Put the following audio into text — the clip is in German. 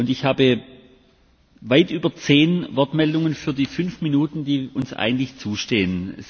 Ich habe weit über zehn Wortmeldungen für die fünf Minuten, die uns eigentlich zustehen.